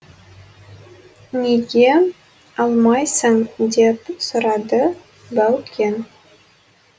неге алмайсың деп сұрады баукең